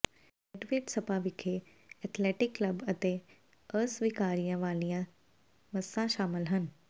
ਰੈਡਵੇਡ spa ਵਿਖੇ ਇਕ athletic club ਅਤੇ ਅਸਵੀਕਾਰੀਆਂ ਵਾਲੀਆਂ ਮੱਸਾਂ ਸ਼ਾਮਲ ਹਨ